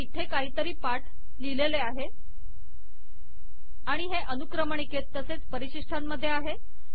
इथे काहीतरी पाठ लिहिलेले आहे आणि ते अनुक्रमणिकेत तसेच परिशिष्टांमधे आहे